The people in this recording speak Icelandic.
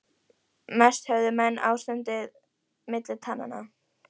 Mest höfðu menn ástandið milli tannanna.